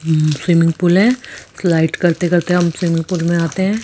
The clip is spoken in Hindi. स्विमिंग पूल हैं। स्लाइड करते करते हम स्विमिंग पूल में आते हैं।